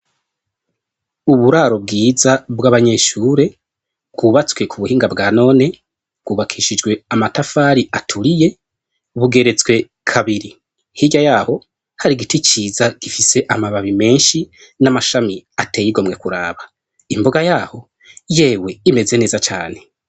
Uburaro bwiza bw'abanyeshure bwubatswe ku buhinga bwa none bwubakishijwe amatafari aturiye bugeretswe kabiri hirya yaho hari igiti ciza gifise amababi menshi n'amashami ateye igomwe kuraba imboga yaho yewe imeze neza cane.